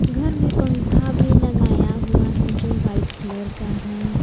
घर में पंखा भी लगाया गया है जो वाइट कलर का है।